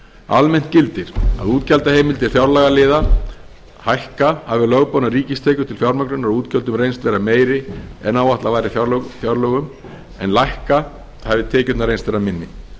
almennt gildir að útgjaldaheimildir fjárlagaliða hækka hafi lögboðnar ríkistekjur til fjármögnunar á útgjöldunum reynst vera meiri en áætlað var í fjárlögum en lækka hafi tekjurnar reynst vera minni